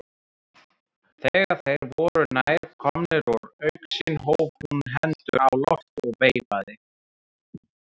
Þegar þeir voru nær komnir úr augsýn hóf hún hendur á loft og veifaði.